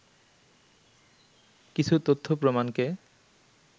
কিছু তথ্য প্রমাণকে